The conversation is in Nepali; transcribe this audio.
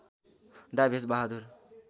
डा भेष बहादुर